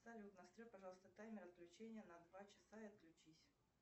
салют настрой пожалуйста таймер отключения на два часа и отключись